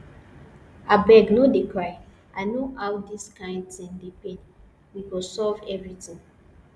abeg no dey cry i know how dis kyn thing dey pain we go solve everything